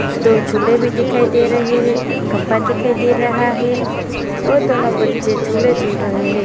दो झूले भी दिखाई दे रहे हैं एक खंबा दिखाई दे रहा है ओर दोनों बच्चे झूले झूल रहे हैं।